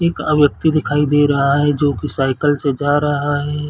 एक व्यक्ति दिखाई दे रहा है जो की साइकिल से जा रहा है।